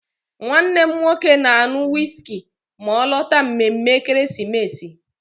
Nwannem nwoke na-aṅụ wiski ma ọ lọta mmemme ekeresimesi.